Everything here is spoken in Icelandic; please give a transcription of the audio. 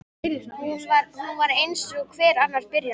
Hún var eins og hver annar byrjandi.